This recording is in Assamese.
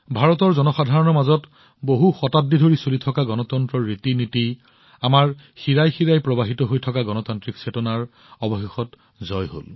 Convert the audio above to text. ভাৰতৰ জনসাধাৰণৰ মাজত বহু শতাব্দী ধৰি গণতন্ত্ৰৰ ৰীতিনীতি যি চলি আহিছে আমাৰ শিৰাই শিৰাই প্ৰবাহিত হৈ থকা গণতান্ত্ৰিক চেতনা অৱশেষত ইয়াৰ জয় হৈছে